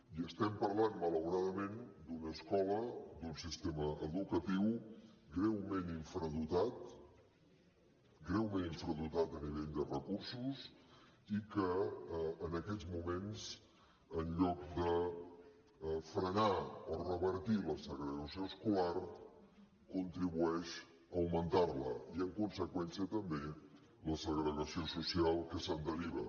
i estem parlant malauradament d’una escola d’un sistema educatiu greument infradotat greument infradotat a nivell de recursos i que en aquests moments en lloc de frenar o revertir la segregació escolar contribueix a augmentar la i en conseqüència també la segregació social que se’n deriva